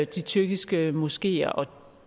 de tyrkiske moskeer og